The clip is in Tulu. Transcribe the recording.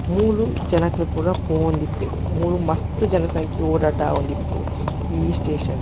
ಮೂಲು ಜನಕುಲು ಪೂರ ಪೋವೊಂದಿಪ್ಪೆರ್ ಮೂಲು ಮಸ್ತ್ ಜನಸಂಖ್ಯೆ ಓಡಾಟ ಆವೊಂದಿಪ್ಪುಂಡು ಈ ಸ್ಟೇಷನ್ ಡ್ .